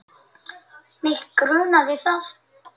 Mig grunaði það!